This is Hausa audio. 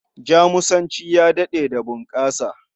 Jamusanci ya daɗe da bunƙasa.